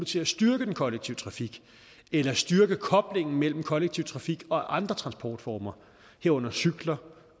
til at styrke den kollektive trafik eller styrke koblingen mellem kollektiv trafik og andre transportformer herunder cykler